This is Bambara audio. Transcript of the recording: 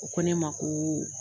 O ko ne ma ko